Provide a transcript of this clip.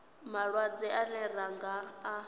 malwadze ane ra nga a